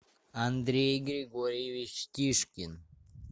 андрей григорьевич тишкин